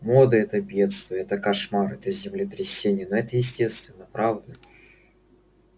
мода это бедство это кошмар это землетрясение но это естественно правда